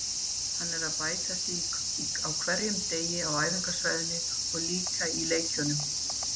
Hann er að bæta sig á hverjum degi á æfingasvæðinu og líka í leikjunum.